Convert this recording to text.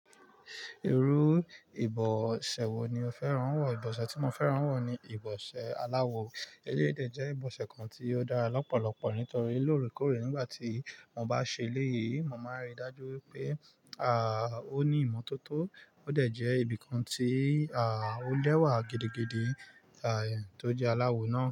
Irú ìbọ̀ṣẹ́ wo ni o fẹ́ràn wọ̀? Ìbọ̀ṣẹ́ tí mo fẹ́ràn wọ̀ ni ìbọ̀ṣẹ́ aláwo. Eleyii dẹ̀ jẹ́ ìbọ̀ṣẹ́ kan tí ó dára lọ́pọ̀lọpọ̀, nítorí lóòrèkóòrè nígbà tí mo bá ṣe ilé yìí, mo máa rí i dájú pé ó ní ìmọ́tótó. Ó dẹ̀ jẹ́ nnkan tí ó lẹ́wà gidigidi, tó jẹ́ aláwo náà.